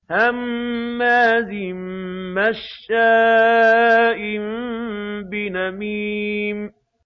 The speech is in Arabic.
هَمَّازٍ مَّشَّاءٍ بِنَمِيمٍ